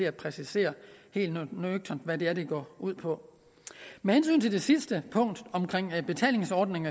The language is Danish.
at præcisere hvad det er det går ud på med hensyn til det sidste punkt om en betalingsordning